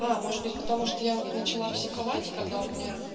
может быть потому что я начала психовать когда у меня